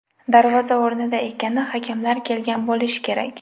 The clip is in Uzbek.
Darvoza o‘rnida ekani, hakamlar kelgan bo‘lishi kerak.